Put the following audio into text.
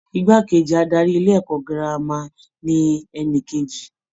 Igbá kejì adarí ilé-ẹ̀kọ́ girama ni ẹni kejì.